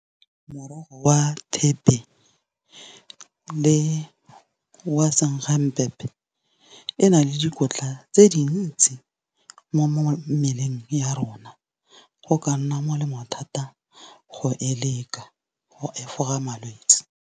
Morogo wa thepe le wa e na le dikotla tse dintsi, mo mmeleng ya rona. Go ka nna molemo thata go e leka go efoga malwetse.